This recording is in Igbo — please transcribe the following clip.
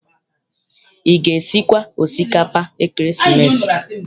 Ị ga- esikwa osikapa ekeresimesi?